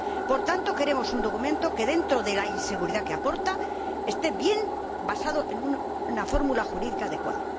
Por tanto, queremos un documento que, dentro de la inseguridad que aporta, esté bien basado en una fórmula jurídica adecuada.